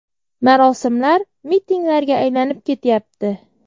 Marosimlar mitinglarga aylanib ketyapti.